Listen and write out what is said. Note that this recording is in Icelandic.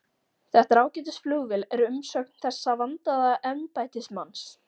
Þetta er ágætis flugvél er umsögn þessa vandaða embættismanns.